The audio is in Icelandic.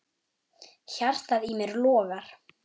Hjartað í mér logar.